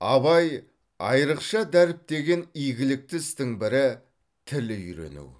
абай айрықша дәріптеген игілікті істің бірі тіл үйрену